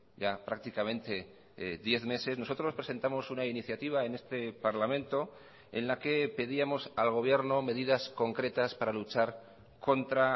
ya prácticamente diez meses nosotros presentamos una iniciativa en este parlamento en la que pedíamos al gobierno medidas concretas para luchar contra